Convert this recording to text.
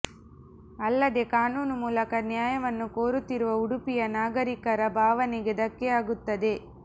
ಅಲ್ಲದೆ ಕಾನೂನು ಮೂಲಕ ನ್ಯಾಯವನ್ನು ಕೋರುತ್ತಿರುವ ಉಡುಪಿಯ ನಾಗರಿಕರ ಭಾವನೆಗೆ ಧಕ್ಕೆಯಾಗುತ್ತದೆ